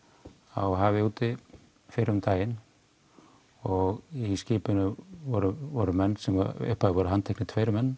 á hafi úti fyrr um daginn og í skipinu voru voru menn sem í upphafi voru handteknir tveir menn